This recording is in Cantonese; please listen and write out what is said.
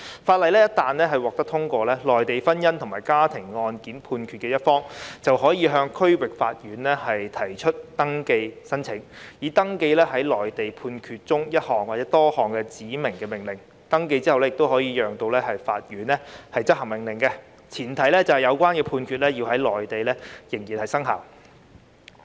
《條例草案》一旦獲得通過，取得內地婚姻或家庭案件判決的一方，便可向區域法院提出登記申請，以登記該內地判決中的一項或多項指明命令；完成登記後亦可由法院執行命令，前提是有關判決在內地仍然生效。